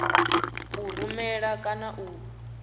a u rumela kana u